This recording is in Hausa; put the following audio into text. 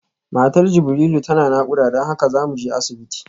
Matar Jibrilu tana nakuda don haka zamuje asibiti